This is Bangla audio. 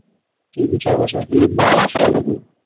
তিন চার বছর আগে কি বাবা মার সাথে নাকি?